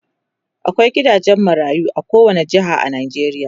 akwai gidajen marayu a kowani jeha a Najeriya